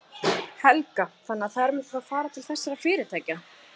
Helga: Þannig að þær myndu þá fara til þessara fyrirtækja?